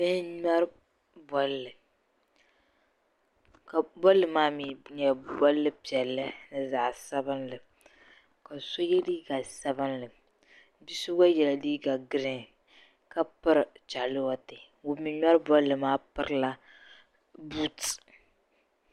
Bihi n-ŋmɛri bolli ka bolli maa mi nyɛla bol' piɛlli ni zaɣ' sabilinli ka so ye liiga sabilinli. Bi' so gba yɛla liiga girin ka piri chaalewati ŋun mi ŋmɛri bolli maa pirila buuti.